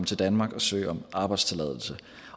til danmark og søge om arbejdstilladelse